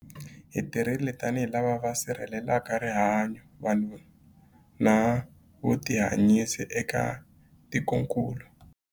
Hi tirhile tanihi lava va sirhelelaka rihanyu, vanhu na vutihanyisi eka tikokulu.